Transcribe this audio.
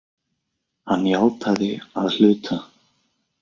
Hann játaði að hluta